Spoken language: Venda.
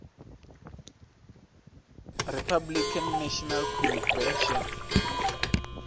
republican national convention